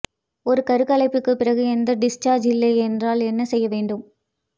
ஒரு கருக்கலைப்புக்குப் பிறகு எந்த டிஸ்சார்ஜ் இல்லை என்றால் என்ன செய்ய வேண்டும்